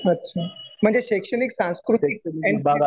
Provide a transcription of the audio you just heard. अच्छा. म्हणजे शैक्षणिक, सांस्कृतिक